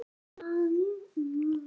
Þær eru sagðar.